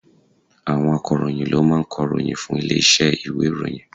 Àwọn akọ̀ròyìn ló máa ń kọ̀ròyìn fún ilé iṣẹ́ ìwé ìròyìn.